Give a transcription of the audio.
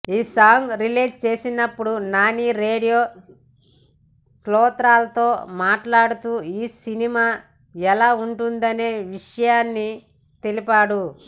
ఈ song release చేసినప్పుడు Nani radio శ్రోతలతో మాట్లాడుతూ ఈ సినిమా ఎలా ఉంటుందనే విషయాన్ని తెలిపాడు